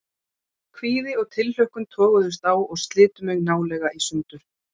Kvíði og tilhlökkun toguðust á og slitu mig nálega í sundur.